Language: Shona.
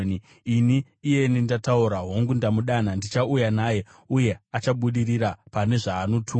Ini, iyeni ndataura; hongu, ndamudana. Ndichauya naye, uye achabudirira pane zvaanotumwa.